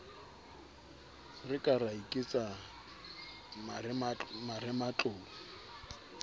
re ka ra iketsa marematlou